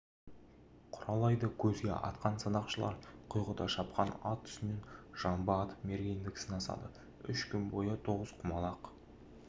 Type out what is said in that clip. құралайды көзге атқан садақшылар құйғыта шапқан ат үстінен жамбы атып мергендік сынасады үш күн бойы тоғызқұмалақ